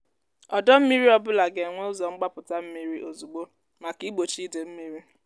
ọdọ mmiri ọ bụla ga-enwe ụzọ mgbapụta mmiri ozugbo maka igbochi ide mmiri.